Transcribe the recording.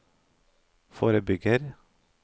forebygger